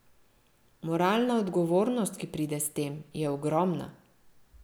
Moralna odgovornost, ki pride s tem, je ogromna.